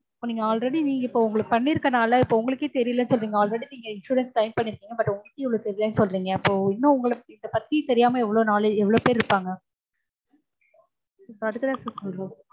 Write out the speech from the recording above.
இப்போ நீங்க already நீங்க இப்போ உங்களுக்கு பண்ணிருக்கறதனால இப்போ உங்களுக்கே இவ்வளவு தெரியலன்னு சொல்லிருக்கீங்க. நீங்க already நீங்க insurance claim பண்ணிருக்கீங்க. but உங்களுக்கே இவ்ளோ தெரியலன்னு சொல்றீங்க. அப்போ இன்னும் இத பத்தி தெரியாம எவ்வளவு பேர் இருப்பாங்க